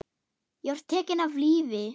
Ég var tekinn af lífi.